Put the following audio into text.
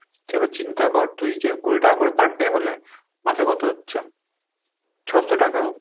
এবার চিন্তা কর তুই যে কুড়ি টাকা করে per day হলে মাসে কত হচ্ছে, ছ'শো টাকা।